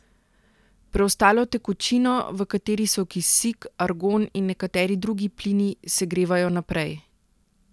Preostalo tekočino, v kateri so kisik, argon in nekateri drugi plini, segrevajo naprej.